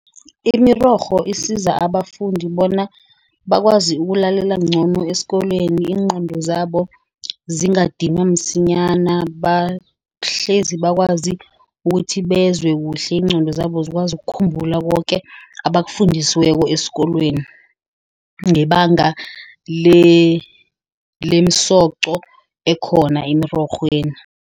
Imirorho isiza abafundi bona bakwazi ukulalela ngcono esikolweni. Iingqondo zabo zingadinwa msinyana. Bahlezi bakwazi ukuthi bezwe kuhle. Iingqondo zabo zikwazi kukhumbula koke abakafundisweki esikolweni. Ngebanga lemisoco ekhona emirorhweni.